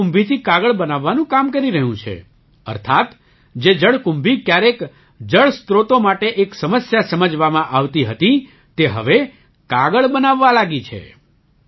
તે જળકુંભીથી કાગળ બનાવવાનું કામ કરી રહ્યું છે અર્થાત્ જે જળકુંભી ક્યારેક જળસ્રોતો માટે એક સમસ્યા સમજવામાં આવતી હતી તે હવે કાગળ બનાવવા લાગી છે